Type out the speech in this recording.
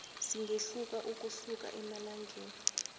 singehluka ukusuka emalangeni